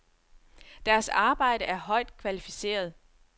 Deres arbejde er højt kvalificeret.